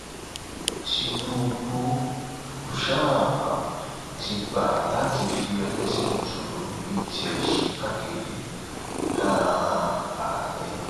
tinúbù um ti gbà láti fi ẹlẹsìn mùsùlùmí bíi tiẹ ṣègbàkejì um ààrẹ